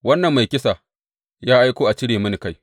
Wannan mai kisa ya aiko a cire mini kai!